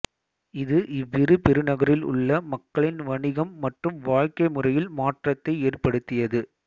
இது இவ்விரு பெருநகரில் உள்ள மக்களின் வணிகம் மற்றும் வாழ்க்கை முறையில் மாற்றத்தை ஏற்படுத்தியது